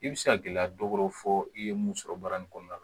I bɛ se ka gɛlɛya dɔ wɛrɛw fɔ i ye mun sɔrɔ baara in kɔnɔna na